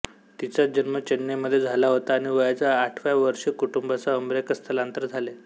तिचा जन्म चेन्नईमध्ये झाला होता आणि वयाच्या आठव्या वर्षी कुटुंबासह अमेरिकेत स्थलांतरित झाले